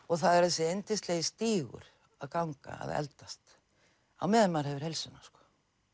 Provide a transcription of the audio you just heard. og það er þessi yndislegi stígur að ganga að eldast á meðan maður hefur heilsuna sko